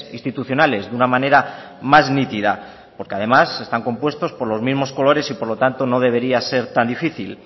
institucionales de una manera más nítida porque además están compuestos por los mismos colores y por lo tanto no debería ser tan difícil